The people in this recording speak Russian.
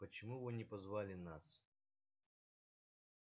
почему вы не позвали нас